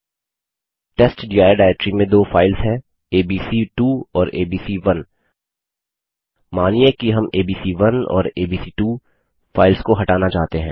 testdir directory में दो files हैं एबीसी2 और एबीसी1 मानिये कि हम एबीसी1 और एबीसी2 फाइल्स को हटाना चाहते हैं